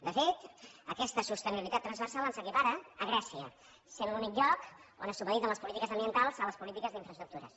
de fet aquesta sostenibilitat transversal ens equipara a grècia que és l’únic lloc on se supediten les polítiques ambientals a les polítiques d’infraestructures